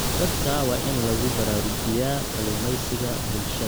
Dadka waa in lagu baraarujiyaa kalluumeysiga bulshada.